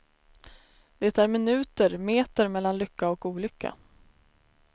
Det är minuter, meter mellan lycka och olycka.